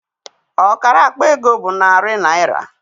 Ọkara akpa ego bụ narị naịra.